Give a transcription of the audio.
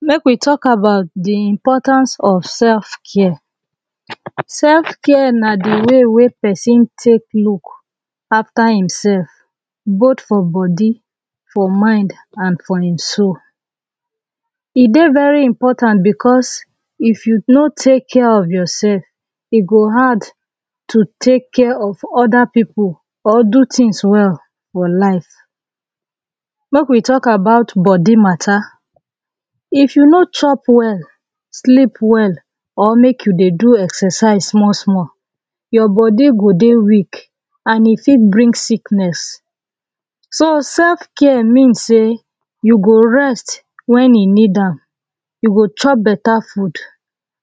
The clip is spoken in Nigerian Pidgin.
make we talk about the importance of self care. self na dey way wey person take look after himself both for body for mind an for him soul e dey very important because if you no take care of yourself e go hard to take care of other people or do things well for life. make we talk about body mata if you no chop well, sleep well or make you dey do exercise small small your body go dey weak an e fit bring sickess. so self care means sey you go rest when you need am e go chop beta food